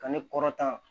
Ka ne kɔrɔtan